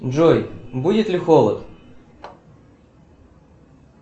джой будет ли холод